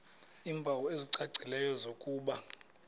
iimpawu ezicacileyo zokuba